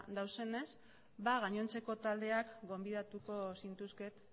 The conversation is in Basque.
daudenez gainontzeko taldeak gonbidatuko zintuzket